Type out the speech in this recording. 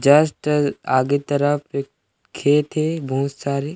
just आगे तरफ एक खेत हे बहुत सारे--